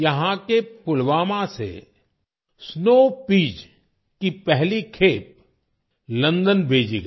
यहाँ के पुलवामा से स्नो पीईएस की पहली खेप लंदन भेजी गई